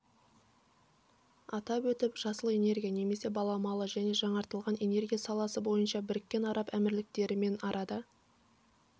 атап өтіп жасыл энергия немесе баламалы және жаңартылатын энергия саласы бойынша біріккен араб әмірліктерімен арада